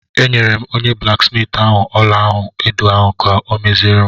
Enyere m onye blaksmiiti ahụ ọla-olu edo ahụ ka ọ meziere m.